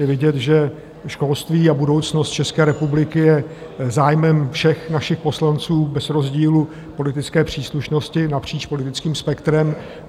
Je vidět, že školství a budoucnost České republiky je zájmem všech našich poslanců bez rozdílu politické příslušnosti, napříč politickým spektrem.